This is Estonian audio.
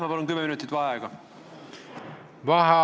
Ma palun kümme minutit vaheaega!